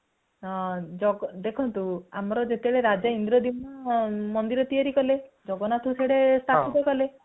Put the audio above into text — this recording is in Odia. ଦେଖନ୍ତୁ ଆମର ଯେତେବେଳେ ରାଜା ଇନ୍ଦ୍ରଦୁମ୍ନ ମନ୍ଦିର ତିଆରି କଲେ ଜଗନ୍ନାଥ ସଦେ ସ୍ଥାପିତ କଲେ